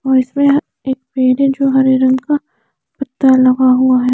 और इसमें है एक पेड़ है जो हरे रंग का पत्ता लगा हुआ है।